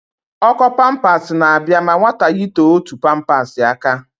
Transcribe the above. Ọ́kọ́ pampas na-abịa ma nwata yitee otu pampas aka.